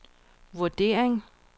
vurdering